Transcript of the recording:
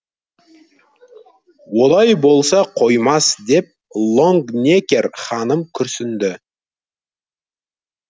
олай болса қоймас деп лонгнекер ханым күрсінді